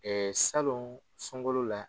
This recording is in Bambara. salon sunkalo la.